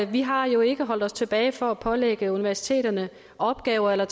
vi har jo ikke holdt os tilbage fra at pålægge universiteterne opgaver eller